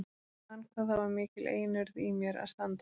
Ég man hvað það var mikil einurð í mér að standa mig.